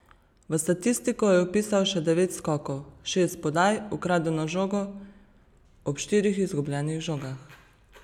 V statistiko je vpisal še devet skokov, šest podaj, ukradeno žogo, ob štirih izgubljenih žogah.